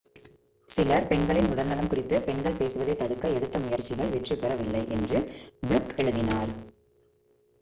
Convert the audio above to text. சிலர் பெண்களின் உடல்நலம் குறித்து பெண்கள் பேசுவதைத் தடுக்க எடுத்த முயற்சிகள் வெற்றி பெற வில்லை என்று ஃப்ளுக் எழுதினார்